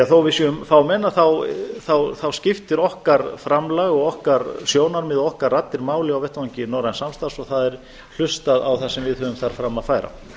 að þó að við séum fámenn þá skiptir okkar framlag og okkar sjónarmið og okkar raddir máli á vettvangi norræns samstarfs og það er hlustað á það sem við höfum þar fram að færa